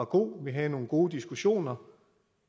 god og vi havde nogle gode diskussioner